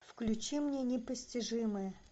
включи мне непостижимое